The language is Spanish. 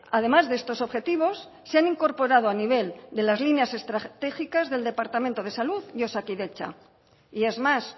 además de estos objetivos se han incorporado a nivel de las líneas estratégicas del departamento de salud y osakidetza y es más